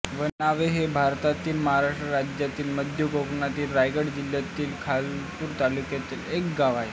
वनावे हे भारतातील महाराष्ट्र राज्यातील मध्य कोकणातील रायगड जिल्ह्यातील खालापूर तालुक्यातील एक गाव आहे